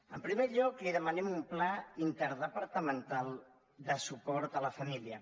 en primer lloc li demanem un pla interdepartamental de suport a la família